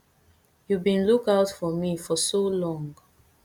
you bin look out for me for so long